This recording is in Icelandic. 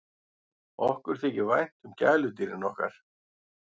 Okkur þykir vænt um gæludýrin okkar.